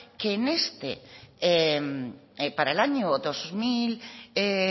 que para el año dos mil